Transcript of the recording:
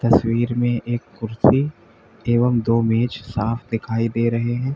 तस्वीर में एक कुर्सी एवं दो मेज साफ दिखाई दे रहे हैं।